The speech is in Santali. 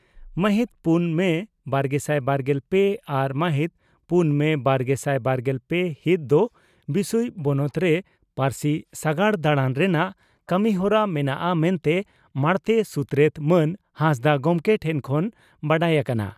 ᱢᱟᱦᱤᱛ ᱯᱩᱱ ᱢᱮ ᱵᱟᱨᱜᱮᱥᱟᱭ ᱵᱟᱨᱜᱮᱞ ᱯᱮ ᱟᱨ ᱢᱟᱦᱤᱛ ᱯᱩᱱ ᱢᱮ ᱵᱟᱨᱜᱮᱥᱟᱭ ᱵᱟᱨᱜᱮᱞ ᱯᱮ ᱦᱤᱛ ᱫᱚ ᱵᱤᱥᱩᱭ ᱵᱚᱱᱚᱛ ᱨᱮ ᱯᱟᱹᱨᱥᱤ ᱥᱟᱜᱟᱲ ᱰᱟᱬᱟᱱ ᱥᱨᱮᱱᱟᱜ ᱠᱟᱹᱢᱤᱦᱚᱨᱟ ᱢᱮᱱᱟᱜᱼᱟ ᱢᱮᱱᱛᱮ ᱢᱟᱬᱛᱮ ᱥᱩᱛᱨᱮᱛ ᱢᱟᱱ ᱦᱟᱸᱥᱫᱟᱜ ᱜᱚᱢᱠᱮ ᱴᱷᱮᱱ ᱠᱷᱚᱱ ᱵᱟᱰᱟᱭ ᱟᱠᱟᱱᱟ ᱾